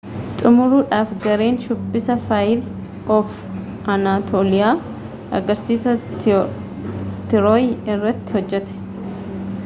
xumuruudhaaf gareen shubbisa faayir oof anatooliyaa agarsiisa tirooy irratti hojjate